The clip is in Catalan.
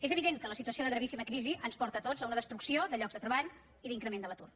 és evident que la situació de gravíssima crisi ens porta a tots a una destrucció de llocs de treball i d’increment de l’atur